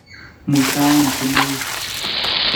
muitaen kemeut